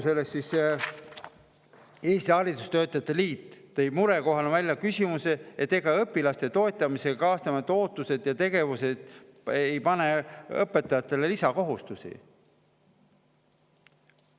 Eesti Haridustöötajate Liit tõi välja murekoha, et ega õpilaste toetamisega kaasnevad ootused ja tegevused ei pane õpetajatele lisakohustusi.